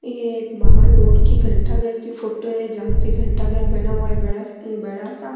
ये एक बाहर रोड की घंटाघर की फोटो है जहा पर घंटाघर बना हुआ है बड़ा बड़ा सा।